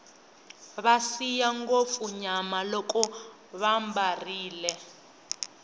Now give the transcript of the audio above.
va siya ngopfu nyama loko vambarile